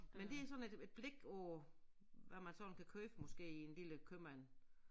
Men det sådan et et blik på hvad man sådan kan købe måske i en lille købmand